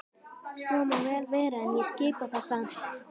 Svo má vel vera en ég skipa það samt.